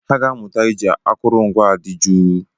Ha ga-amụta iji akụrụngwa dị jụụ.